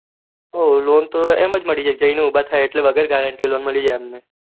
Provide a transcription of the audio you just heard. હું loan તો એમજ મળી જાય જઈને ઉભા થાય એટલે વગર guarenteeloan મળી જાય